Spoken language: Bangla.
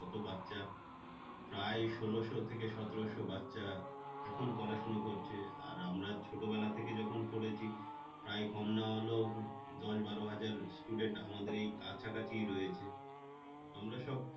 প্রায় ষোলশো থেকে সতেরো শো বাচ্চা এখন পড়াশোনা করছে আর আমরা ছোটবেলা থেকে যখন পড়েছি প্রায় কম না হলেও দশ বারো হাজার student আমাদের এই কাছাকাছিই রয়েছে আমরা সব